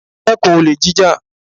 Dẹ́kun olè jíjà!